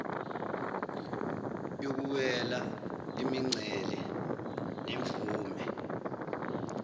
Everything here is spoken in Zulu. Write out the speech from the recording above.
yokuwela imincele nemvume